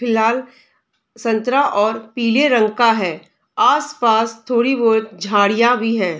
लाल संतरा और पीले रंग का है | आस पास थोड़ी बहुत झाड़ियाँ भी है।